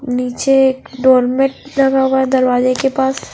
निचे एक डोरमेट लगा हुआ है दरवाजे के पास।